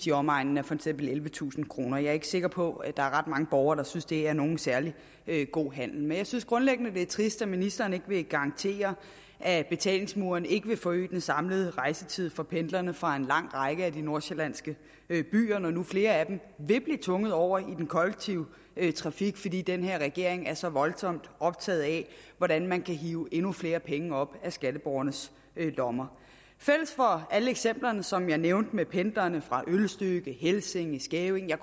i omegnen af ellevetusind kroner jeg er ikke sikker på at der er ret mange borgere der synes at det er nogen særlig god handel men jeg synes grundlæggende at det er trist at ministeren ikke vil garantere at betalingsmuren ikke vil forøge den samlede rejsetid for pendlerne fra en lang række af de nordsjællandske byer når nu flere af dem vil blive tvunget over i den kollektive trafik fordi den her regering er så voldsomt optaget af hvordan man kan hive endnu flere penge op af skatteborgernes lommer fælles for alle eksemplerne som jeg nævnte med pendlerne fra ølstykke helsinge skævinge og